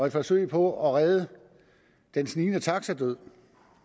et forsøg på at redde den snigende taxadød